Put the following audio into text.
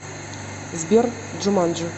сбер джуманджи